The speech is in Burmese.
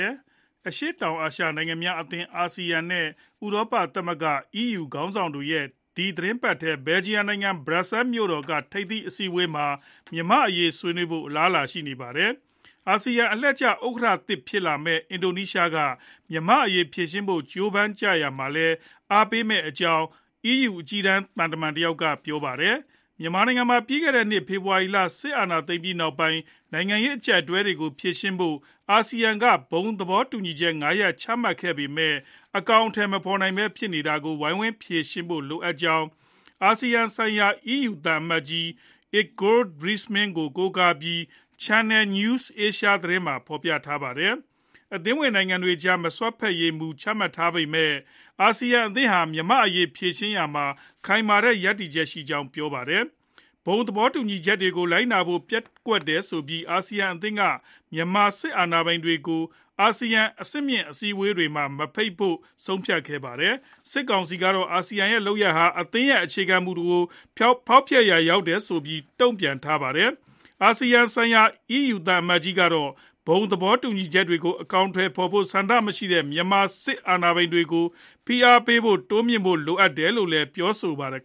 ယ်ရှိ အရှေ့တောင်အာရှ နိုင်ငံများအသင်း (အာဆီယံ) နဲ့ ဥရောပသမဂ္ဂ (EU) ခေါင်းဆောင်တွေရဲ့ ဒီသီတင်းပတ်ထဲ ဘယ်လ်ဂျီယံနိုင်ငံ ဘရပ်ဆဲမြို့တော်က ထိပ်သီးအစည်းအဝေးမှာ မြန်မာ့အရေး ဆွေးနွေးဖို့ အလားအလာရှိနေပါတယ်။ အာဆီယံ အလှည့်ကျ ဥက္ကဋ္ဌသစ် ဖြစ်လာမယ့် အင်ဒိုနီးရှားနိုင်ငံက မြန်မာ့အရေး ဖြေရှင်းဖို့ ကြိုးပမ်းရာမှာလည်း အားပေးမယ့်အကြောင်း EU အကြီးတန်း သံတမန်တယောက်က ပြောဆိုထားပါတယ်။ မြန်မာနိုင်ငံမှာ ပြီးခဲ့တဲ့နှစ် ဖေဖော်ဝါရီလ စစ်အာဏာသိမ်းပြီးနောက်ပိုင်း နိုင်ငံရေး အကျပ်အတည်းတွေကို ဖြေရှင်းဖို့ အာဆီယံက ဘုံသဘောတူညီချက် ၅ ရပ် ချမှတ်ထားပေမဲ့ အကောင်အထည် မဖော်နိုင်ပဲ ဖြစ်နေတာကို ဝိုင်းဝန်းဖြေရှင်းဖို့ လိုအပ်ကြောင်း အာဆီယံဆိုင်ရာ EU သံအမတ်ကြီး Igor Driesmans ကို ကိုးကားပြီး Channel News Asia သတင်းက ဖော်ပြခဲ့တာပါ။ အသင်းဝင်နိုင်ငံတွေကြား မစွက်ဖက်ရေး မူချမှတ်ထားပေမဲ့ အာဆီယံအသင်းဟာ မြန်မာ့အရေး ဖြေရှင်းရာမှာ ခိုင်မာတဲ့ ရပ်တည်ချက်ရှိကြောင်းလည်း ပြောပါတယ်။ ဘုံသဘောတူညီချက်တွေကို လိုက်နာဖို့ ပျက်ကွက်တယ်ဆိုပြီး အာဆီယံအသင်းက မြန်မာစစ်အာဏာပိုင်တွေကို အာဆီယံ အဆင့်မြင့်အစည်းအဝေးတွေမှာ မဖိတ်ဖို့ ဆုံးဖြတ်ထားတာပါ။ စစ်ကောင်စီကတော့ အာဆီယံရဲ့ လုပ်ရပ်ဟာ အသင်းရဲ့ အခြေခံမူတွေကို ဖောက်ဖျက်ရာရောက်တယ်ဆိုပြီး တုံ့ပြန်ထားပါတယ်။ အာဆီယံဆိုင်ရာ EU သံအမတ်ကြီးကတော့ ဘုံသဘောတူညီချက်တွေကို အကောင်အထည်ဖော်ဖို့ ဆန္ဒမရှိတဲ့ မြန်မာစစ်အာဏာပိုင်တွေကို ဖိအားတွေ တိုးမြှင့်ဖို့ လိုတယ်လို့ ပြောပါတယ်။